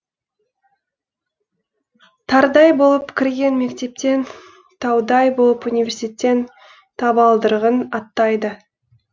тарыдай болып кірген мектептен таудай болып университет табалдырығын аттайды